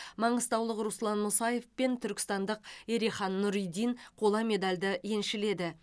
маңғыстаулық руслан мұсаев пен түркістандық ерехан нұридин қола медальді еншіледі